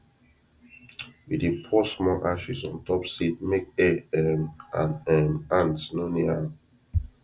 we dey pour small ashes on top seed make air um and um ant no near am